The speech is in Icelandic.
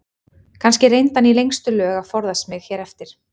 Kannski reyndi hann í lengstu lög að forðast mig hér eftir.